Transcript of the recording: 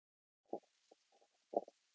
Gildir það ennþá núna í kvöld?